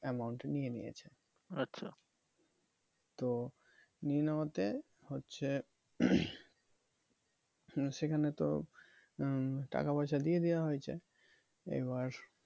amount নিয়ে নিয়েছে তো নিয়ে নেওয়াতে হচ্ছে সেখানে তো উম টাকা পয়সা দিয়ে দেওয়া হয়েছে এবার